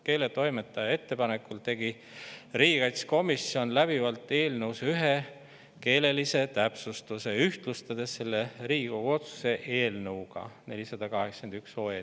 Keeletoimetaja ettepanekul tegi riigikaitsekomisjon läbivalt eelnõus ühe keelelise täpsustuse, ühtlustades selle Riigikogu otsuse eelnõuga 481.